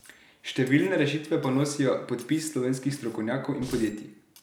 Številne rešitve pa nosijo podpis slovenskih strokovnjakov in podjetij.